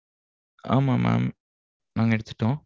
ஆமாம் mam நாங்க எடுத்துட்டோம்.